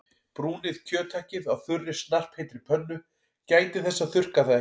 Brúnið kjöthakkið á þurri snarpheitri pönnu- gætið þess að þurrka það ekki.